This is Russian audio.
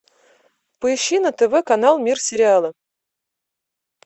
поищи на тв канал мир сериала